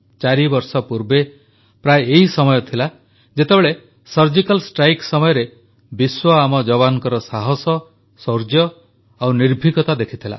ଚାରିବର୍ଷ ପୂର୍ବେ ପ୍ରାୟ ଏହି ସମୟ ଥିଲା ଯେତେବେଳେ ସର୍ଜିକାଲ ଷ୍ଟ୍ରାଇକ୍ ସମୟରେ ବିଶ୍ୱ ଆମ ଯବାନଙ୍କ ସାହାସ ଶୌର୍ଯ୍ୟ ଓ ନିର୍ଭୀକତା ଦେଖିଥିଲା